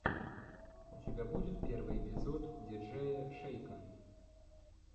у тебя будет первый эпизод диджея шейка